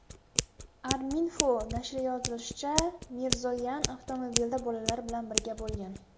Arminfo nashri yozishicha , Mirzoyan avtomobilda bolalari bilan birga bo‘lgan.